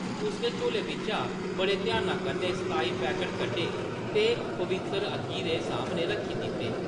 उस ने झोले बिच्चा बड़े ध्याना कन्नै सताई पैकट कड्ढे ते पवित्तर अग्गी दे सामनै रक्खी दित्ते ।